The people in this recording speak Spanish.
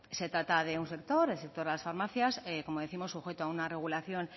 se trata de un sector el sector de las farmacias como décimos sujeto a una regulación